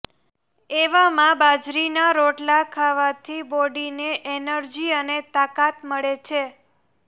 એવામાં બાજરીના રોટલા ખાવાથી બોડીને એનર્જી અને તાકાત મળે છે